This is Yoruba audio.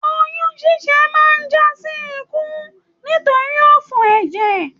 Oyún ṣiṣẹ máa n jasi ikú nitori òfò ẹjẹ.